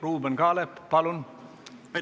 Ruuben Kaalep, palun!